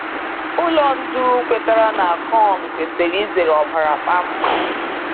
Ụlọ ndu kwetara na Akon kwesiri izere ọbara kpamkpam.